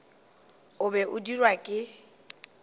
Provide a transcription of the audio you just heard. o be a dirwa ke